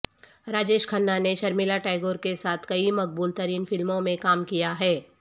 راجیش کھنہ نے شرمیلا ٹیگور کے ساتھ کئی مقبول ترین فلموں میں کام کیا ہے